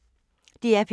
DR P1